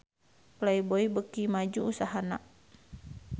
Playboy beuki maju usahana